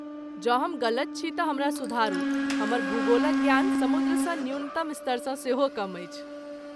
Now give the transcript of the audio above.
जँ हम गलत छी तऽ हमरा सुधारू , हमर भूगोलक ज्ञान समुद्रसँ न्यूनतम स्तरसँ सेहो कम अछि।